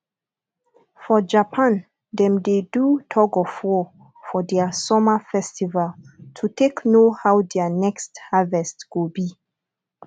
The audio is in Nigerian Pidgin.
for japan dem de do tugofwar for their summer festival to take know how their next harvest go be